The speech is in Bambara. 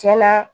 Tiɲɛna